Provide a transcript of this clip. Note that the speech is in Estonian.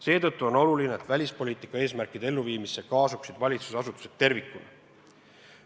Seetõttu on oluline, et välispoliitika eesmärkide elluviimisse kaasataks valitsusasutused tervikuna.